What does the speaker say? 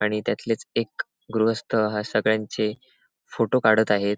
आणि त्यातलेच एक गृहस्त सगळ्यांचे फोटो काडत आहेत.